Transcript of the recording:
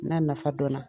N'a nafa dɔnna